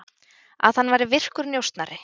Að hann væri virkur njósnari.